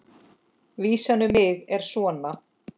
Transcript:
Vísan um mig er svona: